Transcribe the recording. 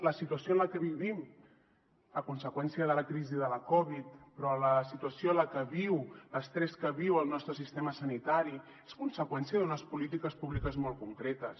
la situació en la que vivim a conseqüència de la crisi de la covid però la situació que viu l’estrès que viu el nostre sistema sanitari és conseqüència d’unes polítiques públiques molt concretes